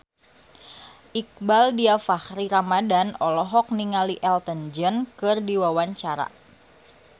Iqbaal Dhiafakhri Ramadhan olohok ningali Elton John keur diwawancara